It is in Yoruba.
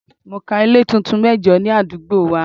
Mo ka ilé tuntun mẹ́jo ní àdúgbò wa.